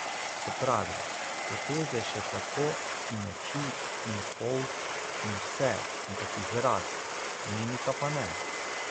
Se pravi, poteze še kako, in oči, in polt, in vse, ampak izraz, mimika pa ne.